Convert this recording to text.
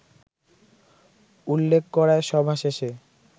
উল্লেখ করায় সভা শেষে